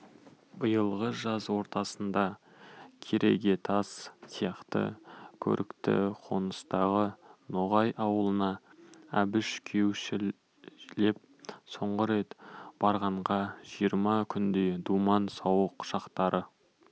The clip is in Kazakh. биылғы жаз ортасында керегетас сияқты көрікті қоныстағы ноғай аулына әбіш күйеушілеп соңғы рет барғанда жиырма күндей думан-сауық шақтары